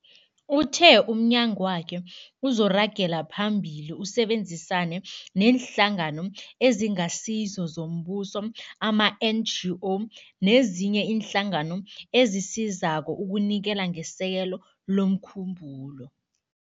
Uthe umnyagwakhe uzoragela phambili usebenzisane neeNhlangano eziNgasizo zoMbuso, ama-NGO, nezinye iinhlangano ezisizako ukunikela ngesekelo lomkhumbulo.